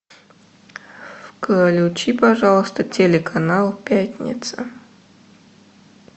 включи пожалуйста телеканал пятница